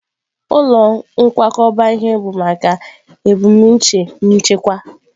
Ụlọ nkwakọba ihe bụ maka ebumnuche nchekwa.